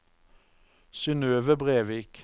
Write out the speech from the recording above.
Synøve Brevik